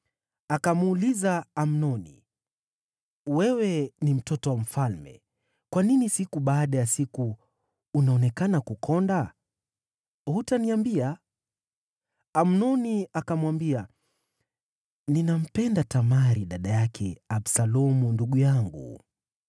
Akamuuliza Amnoni, “Wewe ni mtoto wa mfalme; kwa nini siku baada ya siku unaonekana kukonda? Hutaniambia?” Amnoni akamwambia, “Ninampenda Tamari, dada yake Absalomu ndugu yangu.”